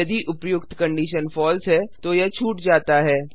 यदि उपर्युक्त condition false है तो यह छूट जाता है